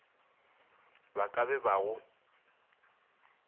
ba ka be ba go